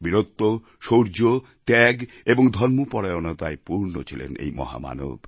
বীরত্ব শৌর্য ত্যাগ এবং ধর্মপরায়ণতায় পূর্ণ ছিলেন এই মহামানব